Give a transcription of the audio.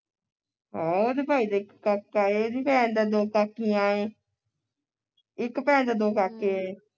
ਹਾਂ ਉਹਦੇ ਭਾਈ ਦੇ ਇਕ ਕਾਕਾ ਏ ਉਹਦੀ ਭੈਣ ਦੇ ਦੋ ਕਾਕੀਆਂ ਏ ਇਕ ਭੈਣ ਦੇ ਦੋ ਕਾਕੇ ਏ